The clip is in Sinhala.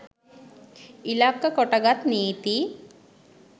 ඉලක්ක කොටගත් නීති